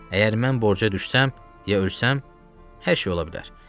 Əgər mən borca düşsəm, ya ölsəm, hər şey ola bilər.